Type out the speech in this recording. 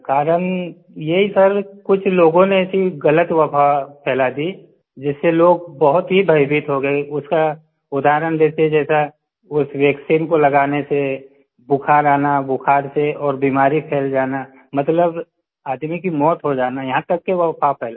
कारण यही सर कुछ लोग ने ऐसी गलत अफ़वाह फैला दी जिससे लोग बहुत ही भयभीत हो गए उसका उदाहरण जैसे जैसा उस वैक्सीन को लगाने से बुखार आना बुखार से और बीमारी फ़ैल जाना मतलब आदमी की मौत हो जाना यहाँ तक की अफ़वाह फैलाई